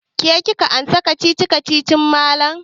Ke kika amsa kacici-kacicin malam.